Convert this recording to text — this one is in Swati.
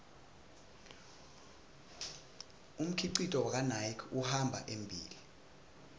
umkhicito wakanike uhamba embile